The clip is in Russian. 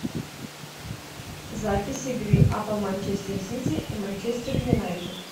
запись игры апл манчестер сити и манчестер юнайтед